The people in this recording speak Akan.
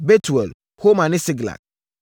Betuel, Horma ne Siklag,